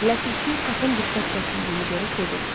Ləpərçi kapın diqqət kəsildiyini görüb dedi: